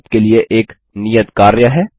यहाँ आपके लिए एक नियत कार्य है